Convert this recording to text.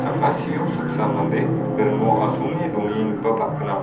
saksa mande ringo asonge dongengipaba gnang.